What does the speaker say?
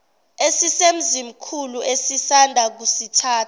esisemzimkhulu esisanda kusithatha